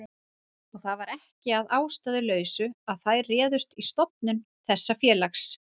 Og það var ekki að ástæðulausu að þær réðust í stofnun þessa félags.